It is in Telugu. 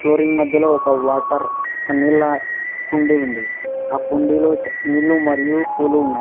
ఫ్లోరింగ్ మధ్యలో ఒక వాటర్ ఒక నీళ్ల కుండి ఉంది ఆ కుండీలో నీళ్లు మరియు పూలు ఉన్నాయి.